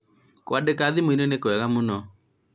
kũandĩka thimũ-inĩ nĩ kwega mũno